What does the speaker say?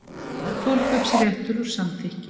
Forkaupsréttur og samþykki.